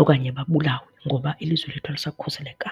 okanye babulawe ngoba ilizwe lethu alisakhuselekanga.